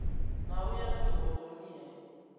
na u ya zwihoḓoni he